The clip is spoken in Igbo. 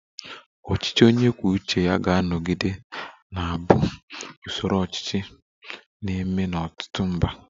Ọchịchị onye kwuo uche ya ga-anọgide na-abụ usoro ọchịchị na-eme n'ọtụtụ mba